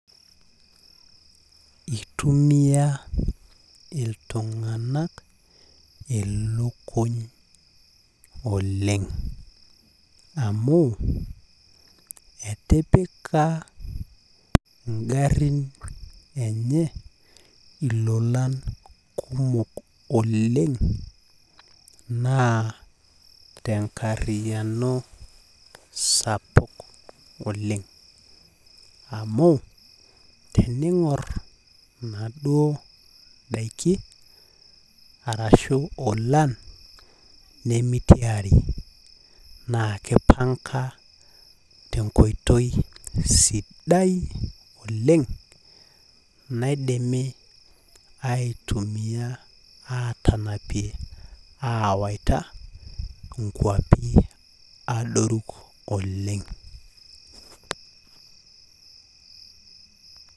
Itumiya iltunganak ilukuny oleng amu etipika ingarin enye ilolan kumok oleng naa tenkariano sapuk oleng amu teningor inaduoo daiki arashu ilolan naa kipanga tenkoitoi sidai oleng naidimi aitumia awaita nkwapi adoru oleng.